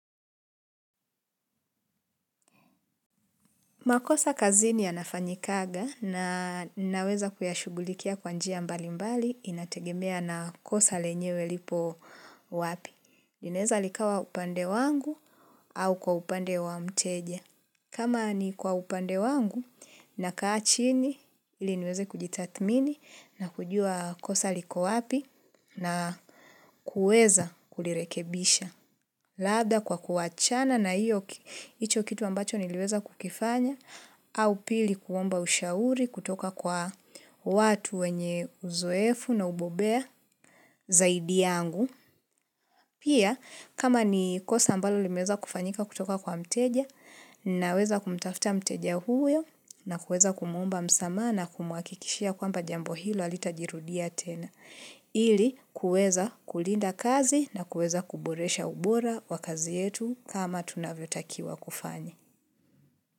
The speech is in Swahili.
Makosa kazini ya yafanyikanga na naweza kuyashugulikia kwa njia mbali mbali inategemea na kosa lenyewe lipo wapi. Linaweza likawa upande wangu au kwa upande wa mteja. Kama ni kwa upande wangu nakaa chini ili niweze kujitathmini na kujua kosa liko wapi na kuweza kulirekebisha. Labda kwa kuwachana na hiyo hicho kitu ambacho niliweza kukifanya au pili kuomba ushauri kutoka kwa watu wenye uzoefu na ubobea zaidi yangu. Pia kama ni kosa ambalo limeweza kufanyika kutoka kwa mteja naweza kumtafta mteja huyo na kuweza kumuomba msamaha na kumhakikishia kwamba jambo hilo halitajirudia tena. Ili kuweza kulinda kazi na kuweza kuboresha ubora wa kazi yetu kama tunavyotakiwa kufanya.